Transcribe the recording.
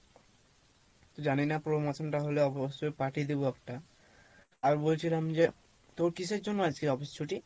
তো জনিনা promotion টা হলে অবশ্যই party দিবো একটা, আর বলছিলাম যে তোর কীসের জন্য আজকে office ছুটি?